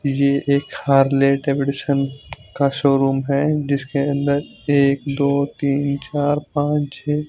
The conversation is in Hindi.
ये एक हार्ले डेविडसन का शोरूम है जिसके अन्दर एक दो तीन चार पाँच छः--